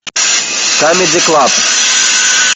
камеди клаб